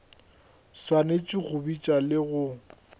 swanetše go bitša le go